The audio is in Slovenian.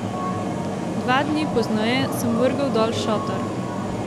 Dva dni pozneje sem vrgel dol šotor.